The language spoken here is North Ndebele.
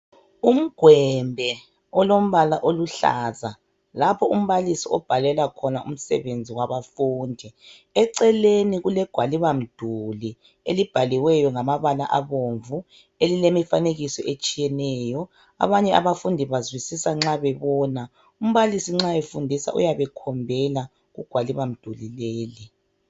Umgwembe olombala oluhlaza, lapho umbalisi obhalela khona umsebenzi wabafundi, eceleni kulegwalibamduli elibhaliweyo ngamabala abomvu elilemifanekiso etshiyeneyo , abanye abafundi bazwisisa nxa bebona, umbalisi nxa efundisa uyabe ekhombela kugwaliba mduli leli.